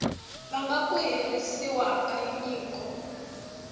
vanga ku herisiwa ka nyiko